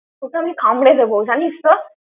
তোকে আমি কামড়ে দেবো, জানিস তো।